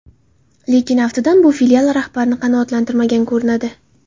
Lekin aftidan bu filial rahbarini qanoatlantirmagan ko‘rinadi.